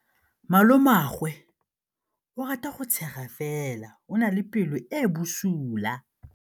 Malomagwe o rata go tshega fela o na le pelo e e bosula.